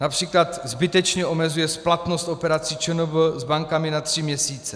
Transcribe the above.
Například zbytečně omezuje splatnost operací ČNB s bankami na tři měsíce.